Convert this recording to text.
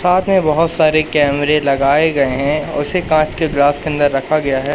साथ में बहुत सारे कैमरे लगाए गए हैं उसे कांच के ग्लास के अंदर रखा गया है।